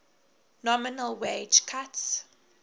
nominal wage cuts